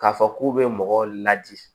K'a fɔ k'u bɛ mɔgɔ ladi